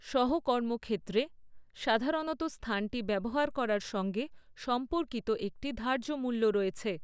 সহ কর্মক্ষেত্রে, সাধারণত স্থানটি ব্যবহার করার সঙ্গে সম্পর্কিত একটি ধার্য মূল্য রয়েছে।